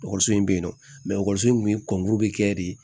Ekɔliso in bɛ yen nɔ ekɔliso in tun ye kɔngɔ bɛ kɛ de